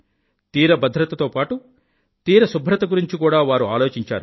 తీరభద్రత తో పాటూ తీర శుభ్రత గురించి కూడా వారు ఆలోచించారు